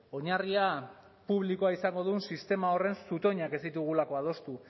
oinarria publikoa izango duen sistema horren zutoinak ez ditugulako adostu